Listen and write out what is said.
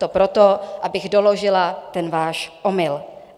To proto, abych doložila ten váš omyl.